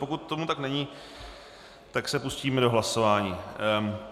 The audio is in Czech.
Pokud tomu tak není, tak se pustíme do hlasování.